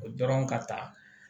O dɔrɔn ka taa